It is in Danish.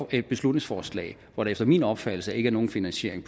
et beslutningsforslag hvor der efter min opfattelse ikke er nogen finansiering